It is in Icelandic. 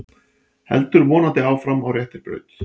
Heldur vonandi áfram á réttri braut